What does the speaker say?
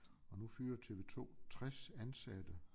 Og nu fyrer TV2 60 ansatte